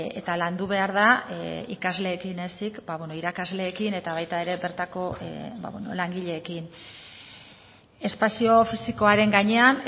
eta landu behar da ikasleekin ezik irakasleekin eta baita ere bertako langileekin espazio fisikoaren gainean